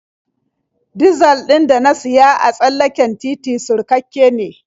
Dizal ɗin da na siya a tsallaken titi surkakke ne.